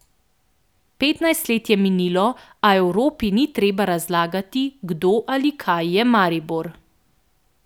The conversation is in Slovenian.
Petnajst let je minilo, a Evropi ni treba razlagati, kdo ali kaj je Maribor.